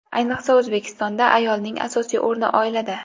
Ayniqsa, O‘zbekistonda ayolning asosiy o‘rni oilada.